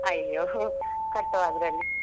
ಅಯ್ಯೋ ಹೋ ಕಟ್ಟುವ ಅದ್ರಲ್ಲಿ.